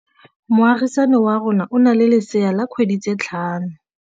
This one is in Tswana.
Moagisane wa rona o na le lesea la dikgwedi tse tlhano.